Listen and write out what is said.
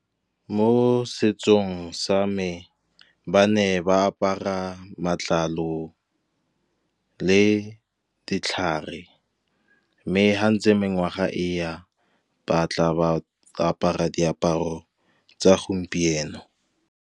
Mo setsong sa me, ba ne ba apara matlalo le ditlhare, mme fa ntse mengwaga e ya, ba tla ba apara diaparo tsa gompieno.